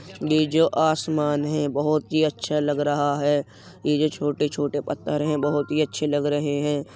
ये जो आसमान है बहोत ही अच्छा लग रहा है। ये जो छोटे-छोटे पत्थर हैं बहुत ही अच्छे लग रहे हैं।